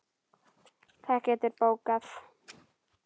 Það geturðu bókað.